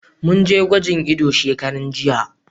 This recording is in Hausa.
Mun je gwajin ido shekaran jiya.